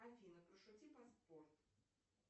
афина пошути про спорт